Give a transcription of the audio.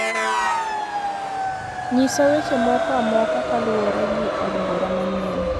Nyisa weche moko amoka kaluwuore gi od bura manyien